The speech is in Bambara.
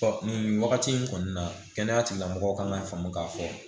Ɔ nin wagati in kɔni na kɛnɛya tigilamɔgɔw ka faamu ka fɔ